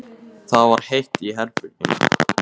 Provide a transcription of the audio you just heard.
Það var heitt í herberginu.